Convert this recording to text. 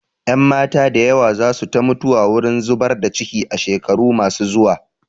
Ƴanmata da yawa za su ta mutuwa wurin zubar da ciki a shekaru ma su zuwa